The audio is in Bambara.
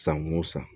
San wo san